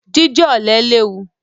Jíjẹ ọ̀lẹ léwu.